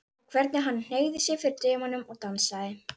Og hvernig hann hneigði sig fyrir dömunum og dansaði!